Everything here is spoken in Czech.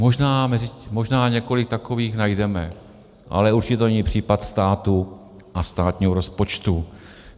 Možná několik takových najdeme, ale určitě to není případ státu a státního rozpočtu.